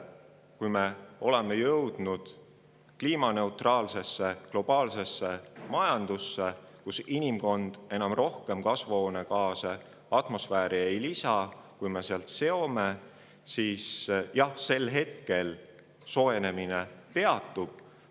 Kui me oleme jõudnud kliimaneutraalsesse globaalsesse majandusse, kus inimkond ei lisa atmosfääri rohkem kasvuhoonegaase, kui me sealt seome, siis sel hetkel soojenemine peatub.